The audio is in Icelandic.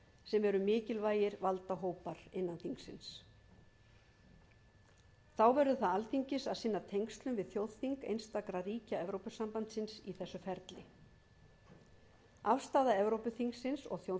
sem eru mikilvægir valdahópar innan þingsins þá verður það alþingis að sinna tengslum við þjóðþing einstakra ríkja evrópusambandsins í þessu ferli afstaða evrópuþingsins og þjóðþinganna mun